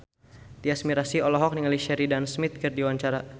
Tyas Mirasih olohok ningali Sheridan Smith keur diwawancara